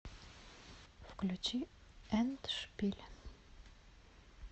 включи эндшпиль